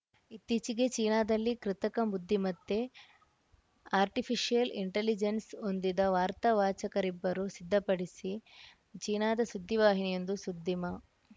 ಇತ್ತೀಚೆಗೆ ಚೀನಾದಲ್ಲಿ ಕೃತಕ ಬುದ್ಧಿಮತ್ತೆ ಆರ್ಟಿಫೀಶಿಯಲ್‌ ಇಂಟೆಲಿಜೆನ್ಸ್‌ ಹೊಂದಿದ ವಾರ್ತಾ ವಾಚಕರಿಬ್ಬರು ಸಿದ್ಧಪಡಿಸಿ ಚೀನಾದ ಸುದ್ದಿವಾಹಿನಿಯೊಂದು ಸುದ್ದಿ ಮಾ